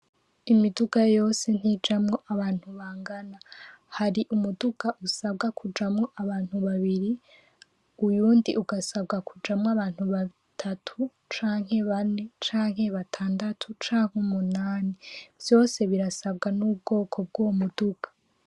Imiduga yose ntijamwo abantu bangana hari umuduka usabwa kujamwo abantu babiri uyundi ugasabwa kujamwo abantu batatu canke bane canke batandatu canke umunani vyose birasabwa n'ubwoko bwuwo muduka.